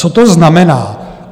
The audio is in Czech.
Co to znamená?